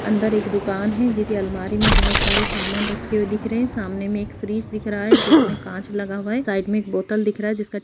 other एक दुकान एह जिस अलमारी मे बहुत सारे सामना रखे हुए दिख रहा है सामने मे एक फ्रिज दिख रहा है जिसमे कांच लगा हुआ है साईड मे एक बोतल दिख रहा है जिसका --